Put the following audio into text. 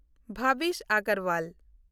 Bhavish Agarwal